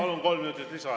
Palun, kolm minutit lisa!